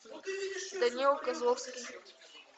данила козловский